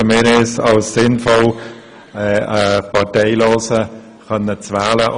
Wir erachten es als sinnvoll, einen Parteilosen zu wählen.